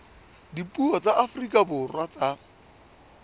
dipuo tsa afrika borwa tsa